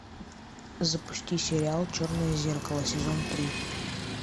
запусти сериал черное зеркало сезон три